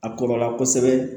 A kɔrɔla kosɛbɛ